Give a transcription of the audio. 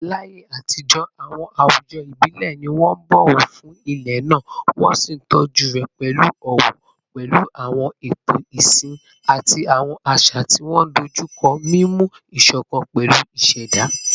Láyé àtijọ́, àwọn àwùjọ ìbílẹ̀ ni wọ́n ń bọ̀wọ̀ fún ilẹ̀ náà, wọ́n sì ń tọ́jú rẹ̀ pẹ̀lú ọ̀wọ̀, pẹ̀lú àwọn ààtò ìsìn àti àwọn àṣà tí wọ́n dojú kọ mímú ìṣọ̀kan pẹ̀lú ìṣẹ̀dá.